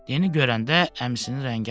Deni görəndə əmisinin rəngi ağardı.